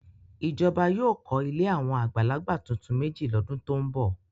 Ìjọba yóò kọ́ ilé àwọn àgbàlagbà tuntun méjì lọ́dún tó ń bọ̀.